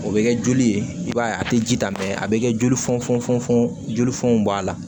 O bɛ kɛ joli ye i b'a ye a tɛ ji ta mɛ a bɛ kɛ joli fɔnɔn jolifɔn b'a la